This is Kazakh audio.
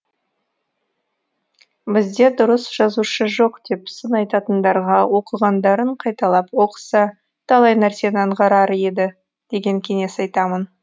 бізде дұрыс жазушы жоқ деп сын айтатындарға оқығандарын қайталап оқыса талай нәрсені аңғарар еді деген кеңес айтамын